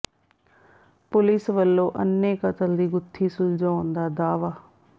police ਵੱਲੋਂ ਅੰਨ੍ਹੇ ਕਤਲ ਦੀ ਗੁੱਥੀ ਸੁਲਝਾਉਣ ਦਾ ਦਾਅਵਾ